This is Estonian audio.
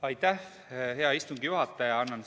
Aitäh, hea istungi juhataja!